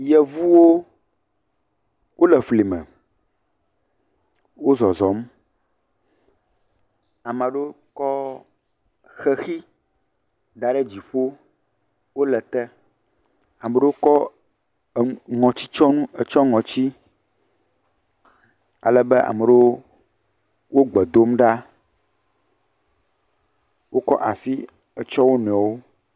Yevuwo wole fli me, wo zɔzɔm. Ame aɖewo kɔ xexi da ɖe dziƒo, wole te, ame ɖewo kɔ ŋɔtitsyɔnu etsyɔ ŋɔtsi alebe ame ɖewo wo gbe dom ɖa. Wokɔ asi tsyɔ wo nɔewo.